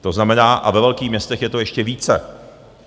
To znamená - a ve velkých městech je to ještě více.